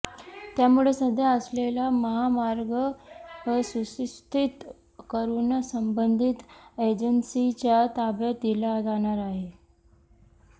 त्यामुळे सध्या असलेला महामार्ग सुस्थितीत करूनच संबंधीत एजन्सीच्या ताब्यात दिला जाणार आहे